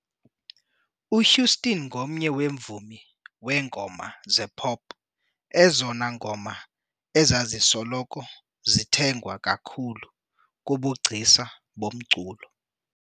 UHouston ngomnye weemvumi weengoma zepop ezona ngoma ezazisoloko zithengwa kakhulu kubugcisa bomculo